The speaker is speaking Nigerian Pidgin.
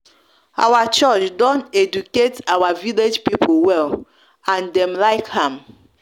our church don educate our village pipul well and dem like am